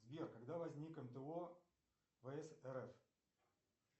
сбер когда возник мто вс рф